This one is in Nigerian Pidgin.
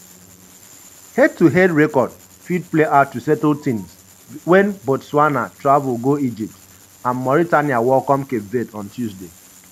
head-to-head record fit play out to settle tins wen botswana travel go egypt and mauritania welcome cape verde on tuesday.